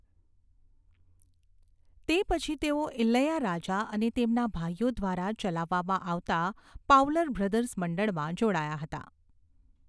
તે પછી તેઓ ઇલૈયારાજા અને તેમના ભાઈઓ દ્વારા ચલાવવામાં આવતા પાવલર બ્રધર્સ મંડળમાં જોડાયા હતા.